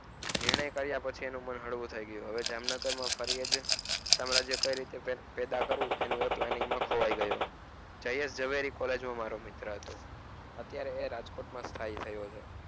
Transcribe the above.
નિર્ણય કારિયા પછી એનું મન હળવું થઈ ગયું હવે જામનગરમાં ફરી એજ સામ્રાજ્ય પેલા કરવું એના વિચારો માં ખોવાય ગયો જાહેજ ઝવેરી college માં મારો મિત્ર હતો અત્યરેએ રાજકોટ માં છે.